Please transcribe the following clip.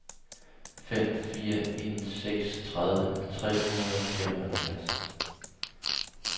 fem fire en seks tredive tre hundrede og femoghalvfjerds